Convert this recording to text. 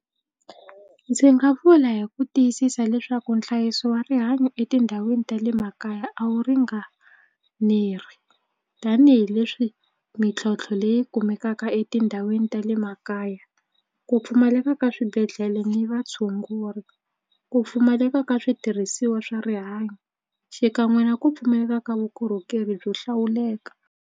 Ndzi nga vula hi ku tiyisisa leswaku nhlayiso wa rihanyo etindhawini ta le makaya a wu ringaneri tanihileswi mintlhontlho leyi kumekaka etindhawini ta le makaya ku pfumaleka ka swibedhlele ni vatshunguri ku pfumaleka ka switirhisiwa swa rihanyo xikan'we na ku pfumaleka ka vukorhokeri byo hlawuleka.